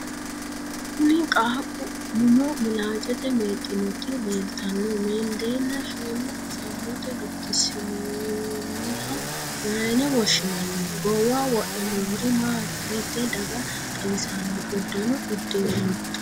Kunni qaaqu mumo milaacete meexinoti leeltanno meendanni shiima samommote gatinsoonniha mayine woshinnanni? Goowaho wodhe noori maati? Hiitee daga xawissanno udanno udire no?